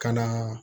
Ka na